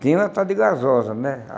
Tinha uma tal de gasosa, né?